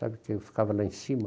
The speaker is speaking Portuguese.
Sabe, que eu ficava lá em cima?